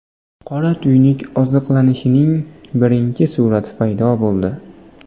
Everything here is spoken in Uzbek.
Qora tuynuk oziqlanishining birinchi surati paydo bo‘ldi.